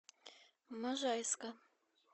можайска